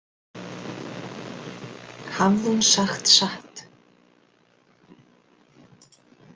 Hafði hún sagt satt?